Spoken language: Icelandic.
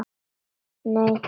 Nei, Emil!